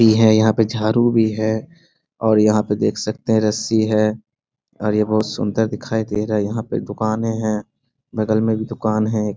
ई हैं यहाँ पे झाड़ू भी है और यहाँ पे देख सकते हैं रस्सी है और ये बहुत सुन्दर दिखाई दे रहा है। यहाँ पे दुकानें हैं बगल में एक दुकान है एक।